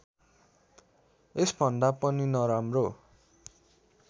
यसभन्दा पनि नराम्रो